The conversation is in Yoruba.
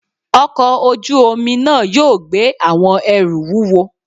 ọkọ ojú-omi náá yóò gbé awọn ẹru wúwọ